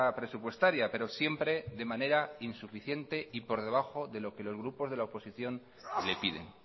presupuestaria pero siempre de manera insuficiente y por debajo de lo que los grupos de la oposición le piden